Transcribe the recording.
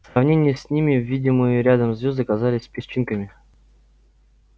в сравнении с ними видимые рядом звезды казались песчинками